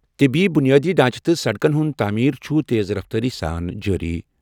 طِبی بُنیٲدی ڈھانچہٕ تہٕ سڑکَن ہُنٛد تعمیٖر چھُ تیز رفتارٕ سۭتۍ جٲری۔